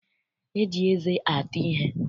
E ji eze ata ihe.